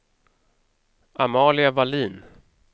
Amalia Vallin